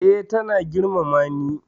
Eh, ta na girmama ni